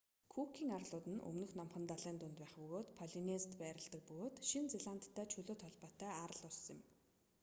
күүкийн арлууд нь өмнөд номхон далайн дунд байх полинезид байрладаг бөгөөд шинэ зеландтай чөлөөт холбоотой арал улс юм